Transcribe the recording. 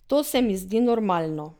To se mi zdi normalno.